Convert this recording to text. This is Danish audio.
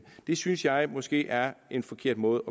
det synes jeg måske er en forkert måde